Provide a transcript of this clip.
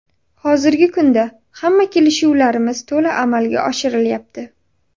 Hozirgi kunda hamma kelishuvlarimiz to‘la amalga oshirilyapti.